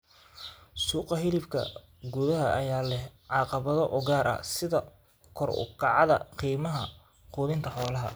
Suuqa hilibka gudaha ayaa leh caqabado u gaar ah, sida kor u kaca qiimaha quudinta xoolaha.